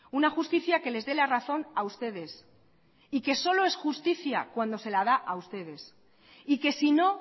una justicia que les dé la razón a ustedes y que solo es justicia cuando se la da a ustedes y que si no